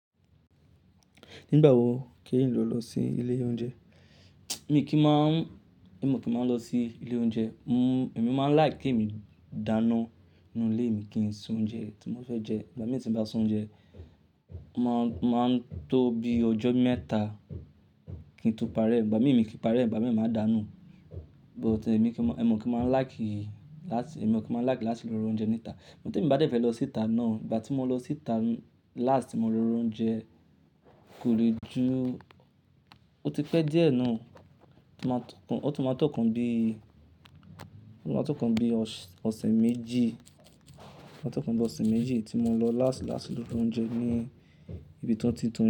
Nígbà wo kí n lò lọ sí ilé oúnjẹ? Èmi kì í máa ń, èmi ò kí ń máa lọ sí ilé oúnjẹ. Mmm èmi máa ń like kí èmi dáná nínú ilé mi kí n sè oúnjẹ tí mo fẹ́ jẹ. Ìgbà mìíràn tí ń bá se oúnjẹ, máa ń, máa ń tó bí ojó mẹ́ta kí n tó parẹ́. Ìgbà mìíràn èmi kì í pariẹ́, ìgbà mì máa dánu. But èmi kì máa ń, èmi ò kí ń máa like láti, èmi ò kí máa like láti lọ ro oúnjẹ níta. Tin bá dé fẹ́ lọ síta náà, ìgbà tí mo lọ síta last tí mo ro oúnjẹ kò rí ju-- ó ti pẹ́ díẹ̀ náà. Ó tún máa tó kan bí, ó tún máa tó kan bí ọ̀sẹ̀ méjì, ó tún máa tó kan bí ọ̀sẹ̀ méjì tí mo lọ last láti lọ ro oúnjẹ ní ibi tanti tounjẹ.